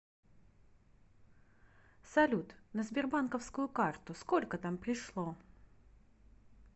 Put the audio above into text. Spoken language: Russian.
салют на сбербанковскую карту сколько там пришло